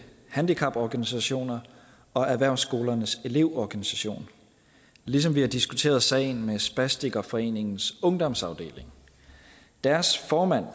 handicaporganisationer og erhvervsskolernes elevorganisation ligesom vi har diskuteret sagen med spastikerforeningens ungdomsafdeling deres formand